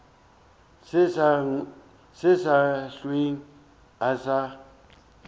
se sa hlwe a sa